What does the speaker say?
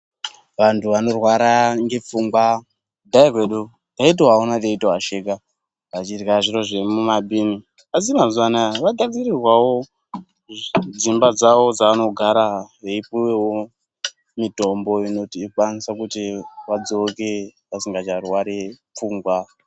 Vantu vanorwara ngepfungwa, kudhaya kwedu taitovaona teitovasheka, vachirya zviro zvemumabhini, Asi mazuva anaya vagadzirirwawo dzimba dzawo dzavanogara veipuwewo mitombo inokwanisa kuti vadzoke vasingacharwari pfungwa.